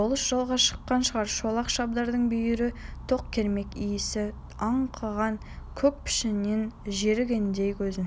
болыс жолға шыққан да шығар шолақ шабдардың бүйірі тоқ кермек исі аңқыған көк пішеннен жерігендей көзін